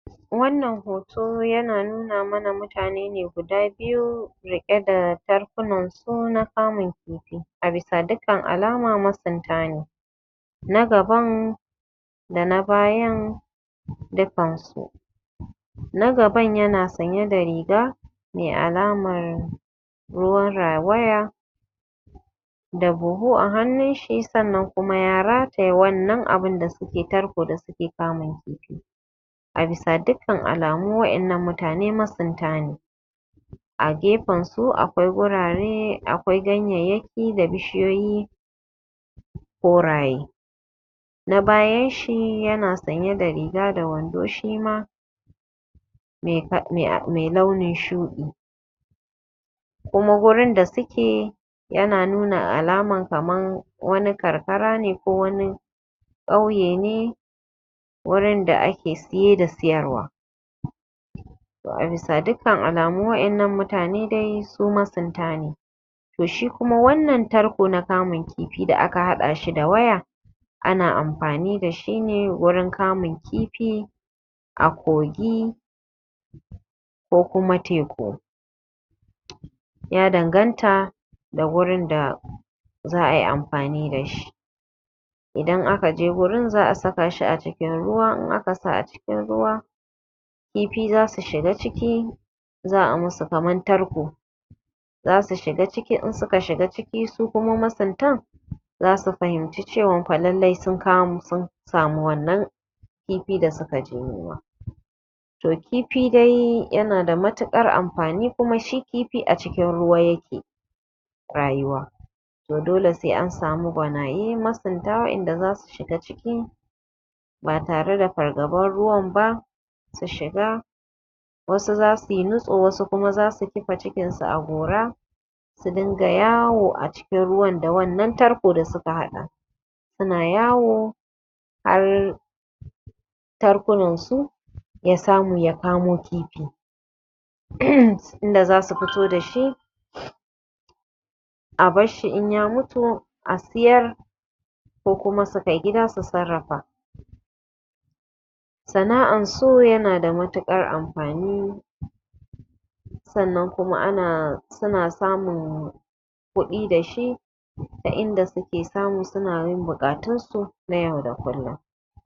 Wannan hoto yana nuna mana mutane ne guda biyu riƙe da jarkunan su na kamun kifi a bisa dukkan alama masunta ne, na gaban da na bayan dukkansu. Na gaban yana sanye da riga mai alaman ruwan rawaya da buhu a hannunshi sannan kuma ya rataye wannan abin da suke tarko suna kamun kifi, a bisa dukkan alamu waɗannan mutane masunta ne A gefen su akwai gurare akwai ganyayyaki da bishiyoyi koraye, na bayanshi yana sanye da riga da wando shima mai launin shuɗi kuma wurin da suke yana nuna alaman kamar wani karkara ne ko wani ƙauye ne wurin da ake saye da sayarwa. To a bisa dukkan alamu waɗannan mutane dai suma masunta ne, to shi kuma wannan tarko da aka haɗa shi da waya ana amfani da shi wurin kamun kifi a kogi ko kuma teku ya danganta ga wurin da za ai amfani da shi. Idan aka je wurin za a saka shi a ruwa idan aka saka shi a ruwa kifi za su zo su shiga ciki za a musu kamar tarko, za su shiga ciki in suka shiga ciki su kuma masuntan za su fahimci cewan lallai sun samu wannan kifi da suka je nema. To kifi dai yana da matuƙar amfani kuma shi kifi a cikin ruwa ya ke rayuwa dole sai an sami gwanayen masunta waɗanda za su shiga cikin ruwa ba tare da fargaban ruwan ba su shiga. Wasu za suyi nitso, Wasu kuma zasu kifa cikinsu a gora su rinka yawo a cikin ruwa da wannan tarkon da suka haɗa suna yawo har tarkunansu ya samu ya kamo kifi um inda za su fito da shi a barshi in ya mutu a sayar ko kuma su kai gida su sarrafa. Sanaʼar su yana da matuƙar amfani sannan kuma a na samun kudi da shi ta inda suna yin buƙatunsu na yau da kullum.